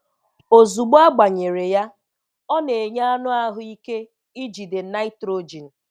Ozugbo agbanyere ya, ọ na-enye anụ ahụ ike ijide Nitrogen.